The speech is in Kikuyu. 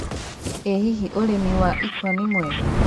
ĩ hihi ũrĩmi wa ĩkwa nĩ mwega